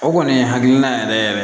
O kɔni ye hakilina yɛrɛ yɛrɛ